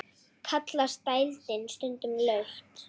Kallast dældin stundum laut.